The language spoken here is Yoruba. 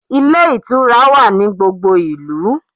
Ilé ìtura wa ní gbogbo ìlú